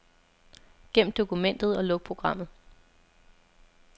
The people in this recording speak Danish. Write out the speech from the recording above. Gem dokumentet og luk programmet.